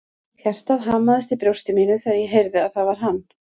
Hjartað hamaðist í brjósti mínu þegar ég heyrði að það var hann.